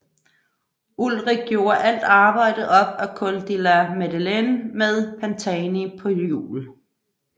Ullrich gjorde alt arbejdet op ad Col de la Madeleine med Pantani på hjul